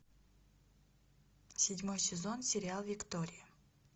седьмой сезон сериал виктория